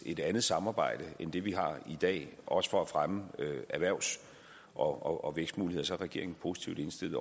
et andet samarbejde end det vi har i dag også for at fremme erhvervs og vækstmuligheder så er regeringen positivt indstillet